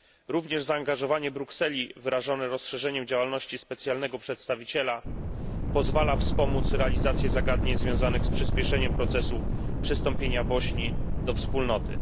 Również zaangażowanie Brukseli wyrażone rozszerzeniem działalności specjalnego przedstawiciela pozwala wspomóc realizację zagadnień związanych z przyspieszeniem procesu przystąpienia Bośni do wspólnoty.